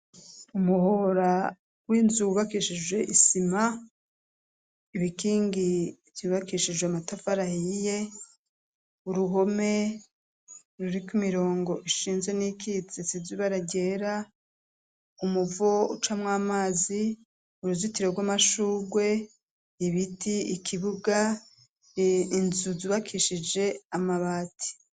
Umuhora w'inzubakishije isima ibikingi vyubakishijwe matafarahiye uruhome ruriko imirongo ishinze n'ikiti tsizibararyera umuvo ucamwo amazi uruzitiro rw'amashurwe ibi giti ikibuga inzuzbakishije amabati.